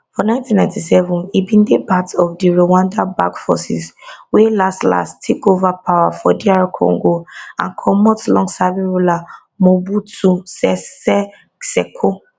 for nineteen nighty seven e bin dey part of di rwandan backed forces wey laslas take ova power for dr congo and comot longserving ruler mobutu sese seko